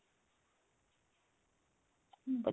hm